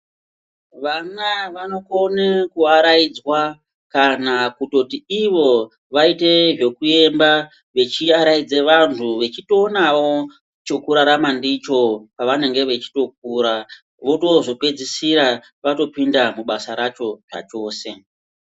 Vana vanokone kuwaraidzwa kana kutoti iwo waite zvekuemba vachiaraidza vanhu vachitoonawo chekurarama ndicho pawanenge weitokura wotozopedzisira vatopinda mubasa racho zvachose.